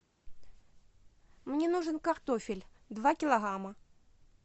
мне нужен картофель два килограмма